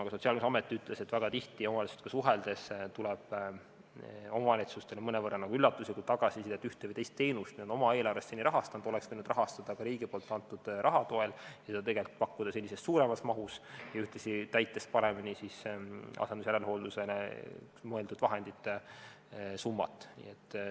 Ka Sotsiaalkindlustusamet ütles, et väga tihti omavalitsustega suheldes tuleb omavalitsustelt mõnevõrra nagu üllatuslikku tagasisidet, et ühte või teist teenust nad on seni oma eelarvest rahastanud, aga oleks võinud rahastada ka riigi antud raha toel ja tegelikult pakkuda seda teenust senisest suuremas mahus, ühtlasi kulutades paremini asendus- ja järelhoolduse jaoks mõeldud vahendite summat.